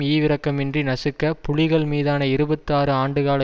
ஈவிரக்கமின்றி நசுக்க புலிகள் மீதான இருபத்தி ஆறு ஆண்டுகால